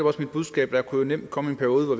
også mit budskab der kunne jo nemt komme en periode hvor